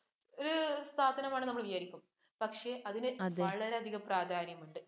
പക്ഷേ അതിന് വളരെയധികം പ്രാധാന്യമുണ്ട്.